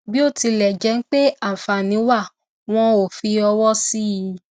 bí ó tilẹ jẹ pé àǹfààní wà wón ò fi ọwọ sí i